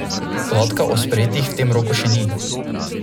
Podatka o sprejetih v tem roku še ni.